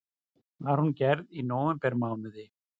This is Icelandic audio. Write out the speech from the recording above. Var hún gerð í nóvembermánuði